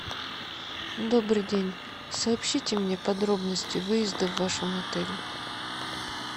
добрый день сообщите мне подробности выезда в вашем отеле